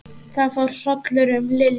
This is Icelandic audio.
Það fór hrollur um Lillu.